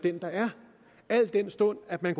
al den stund at man